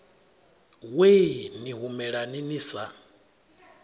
wee ni humelani ni sa